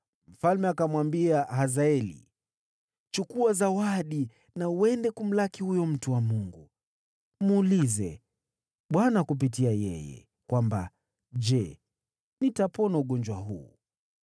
mfalme akamwambia Hazaeli. “Chukua zawadi na uende kumlaki huyo mtu wa Mungu. Muulize Bwana kupitia yeye, kwamba, ‘Je, nitapona ugonjwa huu?’ ”